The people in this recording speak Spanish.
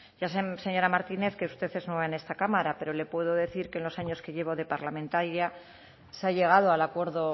ya sé señora martínez que usted es nueva en esta cámara pero le puedo decir que en los años que llevo de parlamentaria se ha llegado al acuerdo